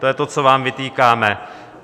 To je to, co vám vytýkáme.